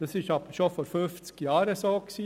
Das war aber schon vor fünfzig Jahren so.